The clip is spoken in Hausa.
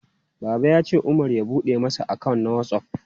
Baba ya ce Umar ya bude masa account na WhatsApp.